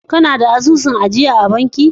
Kana da asusun ajiya a banki?